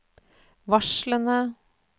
varslene